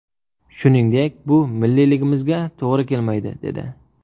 Shuningdek, bu milliyligimizga to‘g‘ri kelmaydi’, dedi.